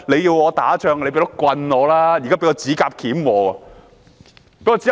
要我打仗，也要先給我一支棍吧。